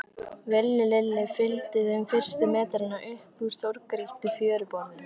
Villi Lilli fylgdi þeim fyrstu metrana upp úr stórgrýttu fjöruborðinu.